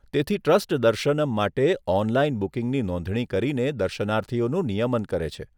તેથી ટ્રસ્ટ દર્શનમ માટે ઓનલાઇન બુકિંગની નોંધણી કરીને દર્શનાર્થીઓનું નિયમન કરે છે.